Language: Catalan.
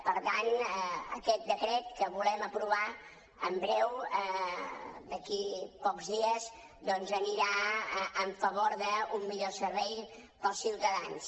per tant aquest decret que volem aprovar en breu d’aquí a pocs dies doncs anirà a favor d’un millor servei per als ciutadans